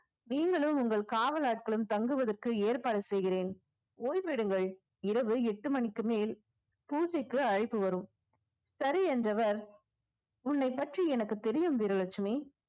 நீங்களும் உங்கள் காவல் ஆட்களும் தங்குவதற்கு ஏற்பாடு செய்கிறேன் ஓய்வெடுங்கள் இரவு எட்டு மணிக்கு மேல் பூஜைக்கு அழைப்பு வரும் சரி என்றவர் உன்னை பற்றி எனக்கு தெரியும் வீரலட்சுமி